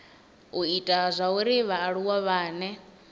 u ita zwauri vhaaluwa vhane